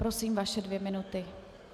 Prosím, vaše dvě minuty.